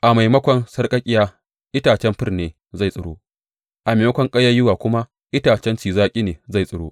A maimakon sarƙaƙƙiya, itacen fir ne zai tsiro, a maimakon ƙayayyuwa kuma, itacen ci zaƙi ne zai tsiro.